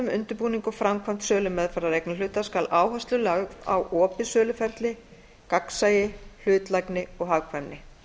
undirbúning og framkvæmd sölumeðferðar eignarhluta skal áhersla lögð á opið söluferli gagnsæi hlutlægni og hagkvæmni